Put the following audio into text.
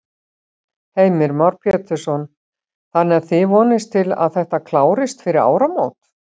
Heimir Már Pétursson: Þannig að þið vonist til að þetta klárist fyrir áramót?